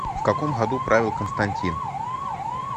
в каком году правил константин